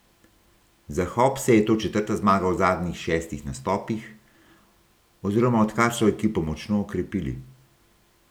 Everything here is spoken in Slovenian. Za Hopse je to četrta zmaga v zadnjih šestih nastopih, oziroma odkar so ekipo močno okrepili.